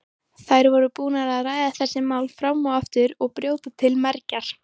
Þær voru búnar að ræða þessi mál fram og aftur og brjóta til mergjar.